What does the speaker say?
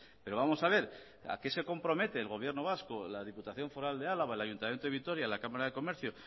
pero vamos a ver a qué se compromete el gobierno vasco la diputación foral de álava el ayuntamiento de vitoria la cámara de comercio